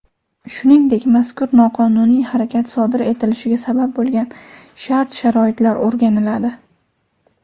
shuningdek mazkur noqonuniy harakat sodir etilishiga sabab bo‘lgan shart-sharoitlar o‘rganiladi.